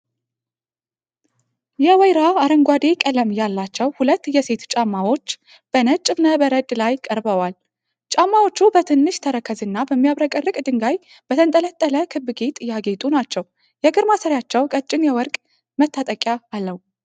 የወይራ አረንጓዴ ቀለም ያላቸው ሁለት የሴቶች ጫማዎች በነጭ እብነ በረድ ላይ ቀርበዋል። ጫማዎቹ በትንሽ ተረከዝ እና በሚያብረቀርቅ ድንጋይ በተንጠለጠለ ክብ ጌጥ ያጌጡ ናቸው። የእግር ማሰሪያቸው ቀጭን የወርቅ መታጠቂያ አለው።